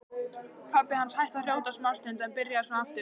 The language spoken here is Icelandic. Pabbi hans hætti að hrjóta smástund en byrjaði svo aftur.